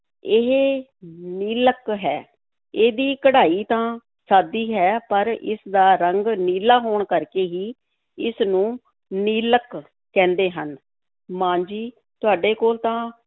ਇਹ ਨੀਲਕ ਹੈ, ਇਹਦੀ ਕਢਾਈ ਤਾਂ ਸਾਦੀ ਹੈ ਪਰ ਇਸ ਦਾ ਰੰਗ ਨੀਲਾ ਹੋਣ ਕਰਕੇ ਹੀ ਇਸ ਨੂੰ ਨੀਲਕ ਕਹਿੰਦੇ ਹਨ, ਮਾਂ ਜੀ ਤੁਹਾਡੇ ਕੋਲ ਤਾਂ